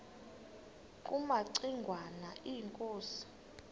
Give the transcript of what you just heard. kumaci ngwana inkosi